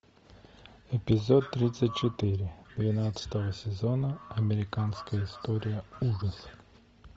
эпизод тридцать четыре двенадцатого сезона американская история ужасов